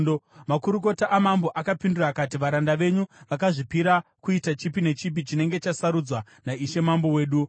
Makurukota amambo akapindura akati, “Varanda venyu vakazvipira kuita chipi nechipi chinenge chasarudzwa naishe mambo wedu.”